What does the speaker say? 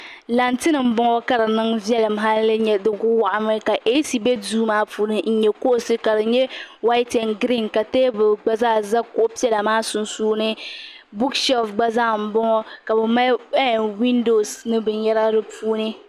Lantin n bɔŋɔ ka di ku waɣa mi ka eaasi bɛ duu maa puuni n yɛ kuɣusi ka di yɛ waiti en griin ka tɛɛbuli gba zaa za kuɣu piɛlla maa sunsuuni buku ahilisi gbazaa n bɔŋɔ ka bi mali windosi ni bin yɛra di p6.